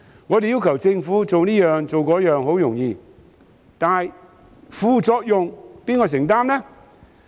我們要求政府做這做那，十分容易，但副作用由誰承擔呢？